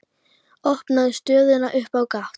Opnar stöðuna upp á gátt.